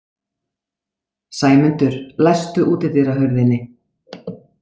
Sæmundur, læstu útidyrahurðinni.